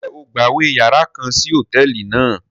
Njẹ o gbawe yàrá kàn sí hotẹẹli náà?